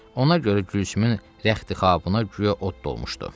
Ona görə Gülsümün rəxtixabına güya od dolmuşdu.